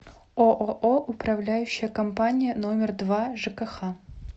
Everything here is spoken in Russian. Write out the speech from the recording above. ооо управляющая компания номер два жкх